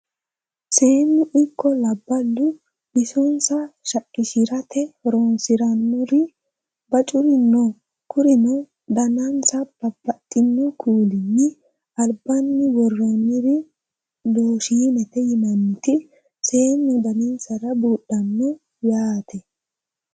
Seenu ikko labbalu bisonissa shaqqishiratte horonisiranori bacuri noo kurino danannisa babaxxino kuulinni alibbani worooniri looshinete yinaniti seenu danisira buudhanote yaate